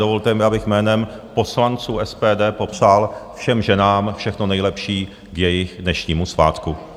Dovolte mi, abych jménem poslanců SPD popřál všem ženám všechno nejlepší k jejich dnešnímu svátku.